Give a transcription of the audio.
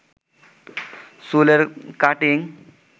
চুলের কাটিং